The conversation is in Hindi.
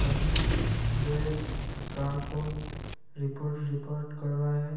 आदमी जो एक कार को रिपर रिपर कर रहा है ।